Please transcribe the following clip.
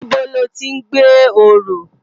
Nibó lòti n gbé óró?